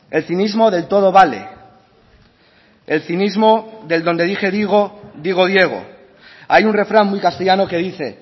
el cinismo del todo vale el cinismo del donde dije digo digo diego hay un refrán muy castellano que dice